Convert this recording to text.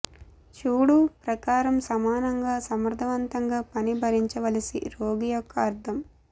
చూడు ప్రకారం సమానంగా సమర్థవంతంగా పని భరించవలసి రోగి యొక్క అర్థం